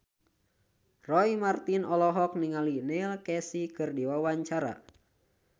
Roy Marten olohok ningali Neil Casey keur diwawancara